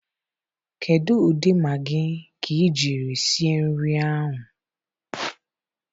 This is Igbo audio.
Kedu ụdị Maagị ka ị jiri sie nri ahụ?